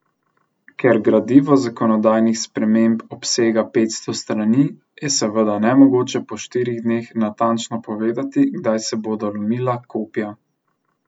Ker gradivo zakonodajnih sprememb obsega petsto strani, je seveda nemogoče po štirih dneh natančno povedati, kdaj se bodo lomila kopja.